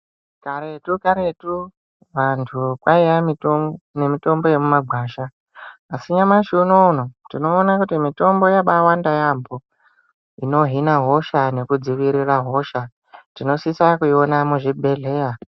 Karetu karetu vantu kwaiya nemitombo yemumagwasha asi nyamashi uno uno tinoona kuti mitombo yabaawanda yaambo inohina hosha nekudzivirira hosha. Tinosisa kuiona muzvi bhehleya.